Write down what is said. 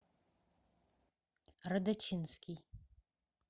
радочинский